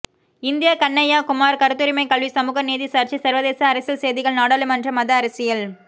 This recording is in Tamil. இந்தியா கன்னய்யா குமார் கருத்துரிமை கல்வி சமூக நீதி சர்ச்சை சர்வதேச அரசியல் செய்திகள் நாடாளுமன்றம் மத அரசியல்